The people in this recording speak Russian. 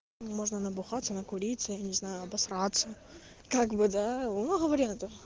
можно набухаться накуриться незнаю обосраться как бы да много вариантов